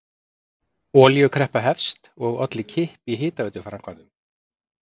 Olíukreppa hefst og olli kipp í hitaveituframkvæmdum.